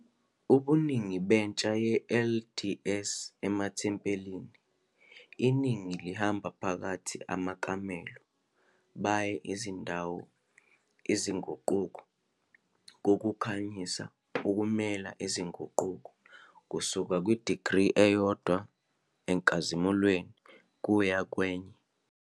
Ngo iningi entsha ye-LDS amathempeli, iningi uhamba phakathi amakamelo baye indawo izinguquko kokukhanyisa ukumela izinguquko kusuka degree elilodwa enkazimulweni kuya kwesinye.